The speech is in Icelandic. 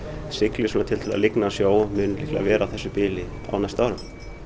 siglir lygnan sjó og mun líklega vera á þessu bili á næstu árum